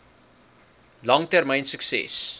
lang termyn sukses